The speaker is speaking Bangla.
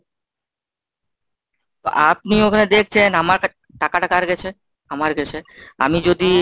তো আপনি ওখানে দেখছেন আমার টাকাটা কার কাছে? আমার কাছে. আমি যদি